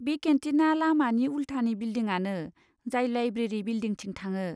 बे केन्टिना लामानि उल्थानि बिलडिंआनो जाय लाइब्रेरि बिलडिंथिं थाङो।